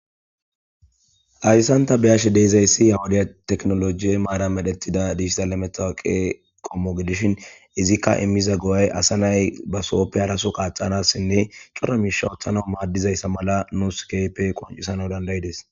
ayssanta beyashe deezayssi yawudiya teknolojiye maara medhettida dihissalmetaqe qommo gidishin izikka immiza go7ay asa nay ba sooppe haraso qaaxanassinne cora miisha woththana maaddizayssa mala nuus keype qoncisana dandayides